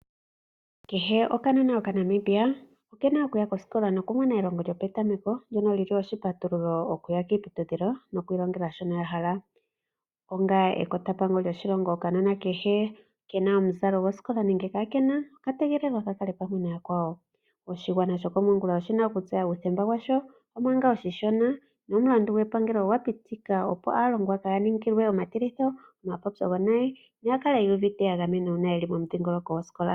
Kehe okanona okaNamibia oke na oku ya kosikola noku mona elongo lyopetameko, ndjono lyili oshipatululo oku ya kiiputudhilo nokwiilongela shono yahala. Onga ekotampango lyoshilongo okanona kehe, ke na omuzalo gwosikola nenge ka ke na, oka tegelelwa ka kale pamwe nayakwawo. Oshigwana shokomongula oshi na okutseya uuthemba washo, omanga oshishona, nomulandu gwepangelo ogwa pitika opo aalongwa kaa ya ningilwe omatilitho, omapopyo gonayi noya kale yu uvite ya gamena uuna yeli momudhingoloko gwosikola.